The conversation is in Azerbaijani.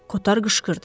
Kotar qışqırdı.